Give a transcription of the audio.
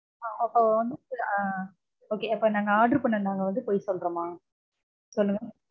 அப்போ வந்து okay நாங்க order பண்ண நாங்க வந்து பொய் சொல்றோமா? சொல்லுங்க